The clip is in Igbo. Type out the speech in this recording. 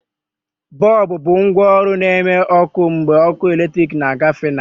Bọlbụ bụ ngwaọrụ na-eme ọkụ mgbe ọkụ eletrik na-agafe na ya.